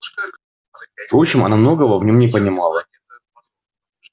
впрочем она многого в нём не понимала